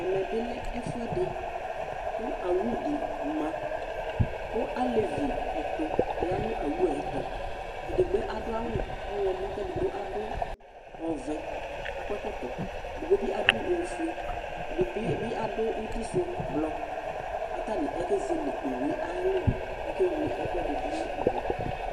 Ɛmɛ bɩ lɛ ɛfʋɛdɩ kʋ awʋ dɩ ma kʋ alevi ɛtʋ ya nʋ awʋ yɛ tʋ Edigbo adʋ awʋ ɔɣlɔmɔ kʋ edigbo adʋ ɔvɛ kʋ akɔ ɛkɔtɔ Edigbo bɩ adʋ ofue, ɛdɩ bɩ bɩ adʋ uti sʋ blɔ kʋ atanɩ akezele owu yɛ ayʋ alɔnu kʋ akewle ɛkʋɛdɩ dʋ nʋ owu yɛ